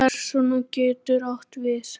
Persóna getur átt við